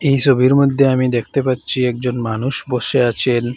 ই সবির মদ্যে আমি দেখতে পাচ্ছি একজন মানুষ বসে আছেন।